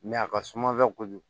a ka suma kojugu